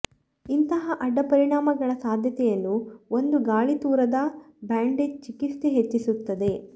ಇಂತಹ ಅಡ್ಡ ಪರಿಣಾಮಗಳ ಸಾಧ್ಯತೆಯನ್ನು ಒಂದು ಗಾಳಿತೂರದ ಬ್ಯಾಂಡೇಜ್ ಚಿಕಿತ್ಸೆ ಹೆಚ್ಚಿಸುತ್ತದೆ